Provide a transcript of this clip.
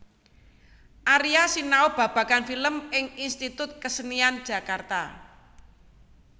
Aria sinau babagan film ing Institut Kesenian Jakarta